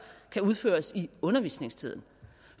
kan udføres i undervisningstiden